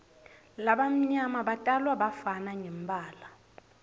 labamnyama batalwa bafana ngembala